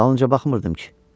Dalınca baxmırdım ki?